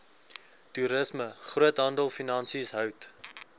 toerisme groothandelfinansies hout